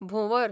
भोंवर